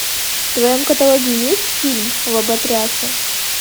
в твоем каталоге есть фильм лоботрясы